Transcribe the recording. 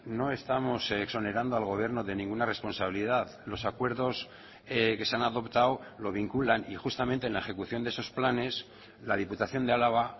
no estamos exonerando al gobierno de ninguna responsabilidad los acuerdos que se han adoptado lo vinculan y justamente en la ejecución de esos planes la diputación de álava